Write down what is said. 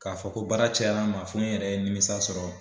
K'a fɔ ko baara cayara n ma fɔ n yɛrɛ ye nimisa sɔrɔ